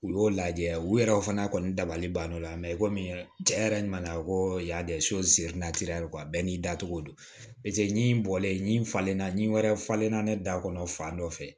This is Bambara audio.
U y'o lajɛ u yɛrɛ o fana kɔni dabali banna i komi cɛ yɛrɛ nana ko y'a de ye bɛɛ n'i dacogo don ɲin bɔlen falenna nin wɛrɛ falenna ne da kɔnɔ fan dɔ fɛ